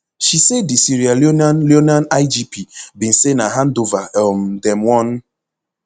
she say di sierra leonean leonean igp bin say na handover um dem wan